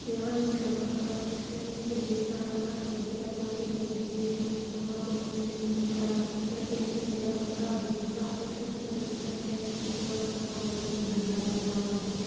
यहाँ एक लड़का खड़ा है जिसने पीछे बैग टाँग रखा है। उसकी बद्धि काली कलर की दिख रही है और उसने दोनों हाथ जेम पेंट की जेब में डाल रखे। पेंट नीला कलर का जीन्स का है। उसने सफेद कलर की शर्ट पहन रखी है और उसने काली कलर की घड़ी हाथ में बाँध रखी --